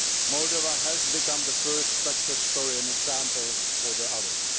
Moldova has become the first success story and an example for the others